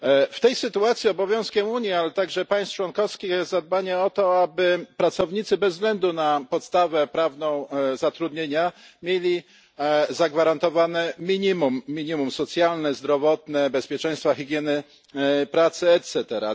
W tej sytuacji obowiązkiem Unii, ale także państw członkowskich, jest dopilnowanie o to, aby pracownicy bez względu na podstawę prawną zatrudnienia mieli zagwarantowane minimum minimum socjalne, zdrowotne, bezpieczeństwa i higieny pracy itp.